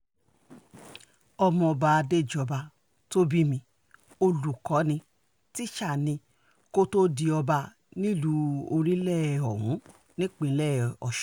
ọmọọba adéjọba tó bi mí olùkọ́ ní tísà ni kó tóó di ọba nílùú orílẹ̀-òwú nípínlẹ̀ ọ̀sùn